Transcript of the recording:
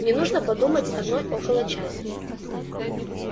мне нужно подумать одной около часа